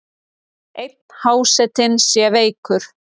Einn hásetinn sé veikur.